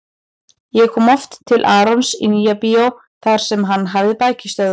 Ég kom oft til Arons í Nýja-bíó þar sem hann hafði bækistöðvar.